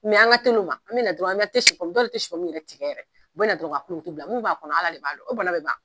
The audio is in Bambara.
an ka teli o ma, an bɛ na dɔrɔn an tɛ si pomu dɔw tɛ si pomu yɛrɛ tigɛ, u bɛ na dɔrɔn ka kulukutu bila; Mun b'a kɔnɔ ala de b'a don, o bana bɛ ban wa?